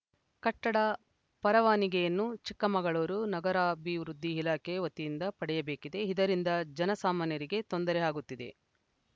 ಕಟ್ಟಡ ಪರವಾನಿಗೆಯನ್ನು ಚಿಕ್ಕಮಗಳೂರು ನಗರಾಭಿವೃದ್ಧಿ ಇಲಾಖೆ ವತಿಯಿಂದ ಪಡೆಯಬೇಕಾಗಿದೆ ಇದರಿಂದ ಜನಸಾಮಾನ್ಯರಿಗೆ ತೊಂದರೆ ಆಗುತ್ತಿದೆ